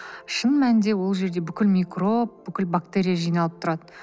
шын мәнінде ол жерде бүкіл микроб бүкіл бактерия жиналып тұрады